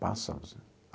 Pássaros né.